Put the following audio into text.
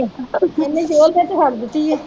ਇਹਨੇ ਨੇ ਤੇ ਛੱਡ ਦਿੱਤੀ ਹੈ